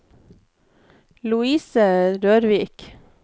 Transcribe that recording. Lovise Rørvik